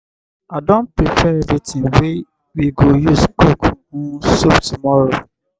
i don prepare everything we go use cook um soup tomorrow.